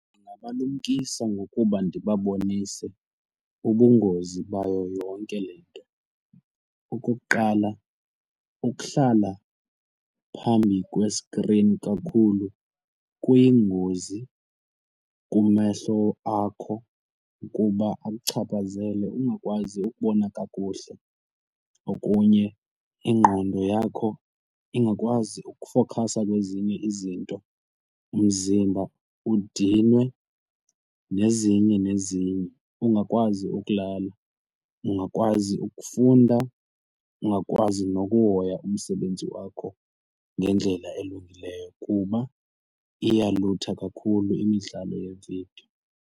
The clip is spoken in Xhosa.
Ndingabalumkisa ngokuba ndibabonise ubungozi bayo yonke le nto. Okokuqala ukuhlala phambi kweskrini kakhulu kuyingozi kumehlo akho kuba akuchaphazele ungakwazi ukubona kakuhle. Okunye ingqondo yakho ingakwazi ukufokhasa kwezinye izinto umzimba udinwe nezinye nezinye, ungakwazi ukulala, ungakwazi ukufunda, ungakwazi nokuhoya umsebenzi wakho ngendlela elungileyo kuba iyalutha kakhulu imidlalo yevidiyo.